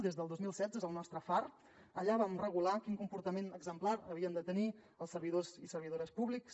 des del dos mil setze és el nostre far allà vam regular quin comportament exemplar havien de tenir els servidors i servidores públics